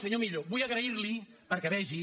senyor millo vull agrair·li perquè vegi